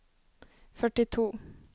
førtito